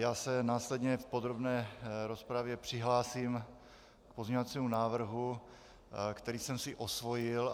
Já se následně v podrobné rozpravě přihlásím k pozměňovacímu návrhu, který jsem si osvojil.